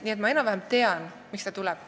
Seega ma enam-vähem tean, miks ta tuleb.